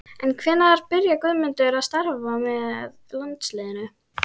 En hvenær byrjaði Guðmundur að starfa með landsliðinu?